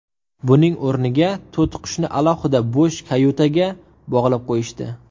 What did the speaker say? Buning o‘rniga to‘tiqushni alohida bo‘sh kayutaga bog‘lab qo‘yishdi.